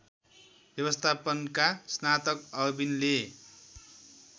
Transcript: व्यवस्थापनका स्नातक अविनले